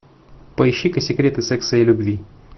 поищи ка секреты секса и любви